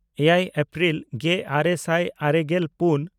ᱮᱭᱟᱭ ᱮᱯᱨᱤᱞ ᱜᱮᱼᱟᱨᱮ ᱥᱟᱭ ᱟᱨᱮᱜᱮᱞ ᱯᱩᱱ